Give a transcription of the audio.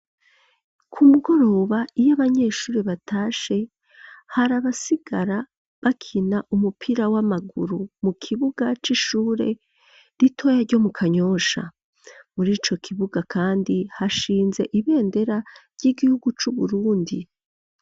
Ku mugoroba iyo abanyeshure batashe hari abasigara bakina umupira w'amaguru mu kibuga c'ishure ritoya ryo mu kanyosha . Murico kibuga kandi hashinze ibendera ry'igihugu c'Uburundi.